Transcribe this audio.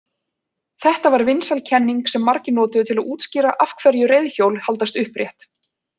Þetta var vinsæl kenning sem margir notuðu til að útskýra af hverju reiðhjól haldast upprétt.